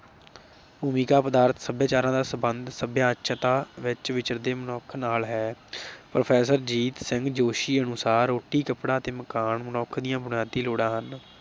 ਭੂਮਿਕਾ ਪਦਾਰਥ ਸਭਿਆਚਾਰਾਂ ਦਾ ਸੰਬੰਧ ਸਭਿਅਤਾ ਵਿਚ ਵਿਚਰਦੇ ਮਨੁੱਖ ਨਾਲ ਹੈ। professor ਜੀਤ ਸਿੰਘ ਜੋਸ਼ੀ ਅਨੁਸਾਰ ਰੋਟੀ, ਕੱਪੜਾ ਅਤੇ ਮਕਾਨ ਮਨੁੱਖ ਦੀਆਂ ਬੁਨਿਆਦੀ ਲੋੜਾਂ ਹਨ।